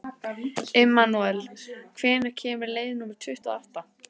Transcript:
Immanúel, hvenær kemur leið númer tuttugu og átta?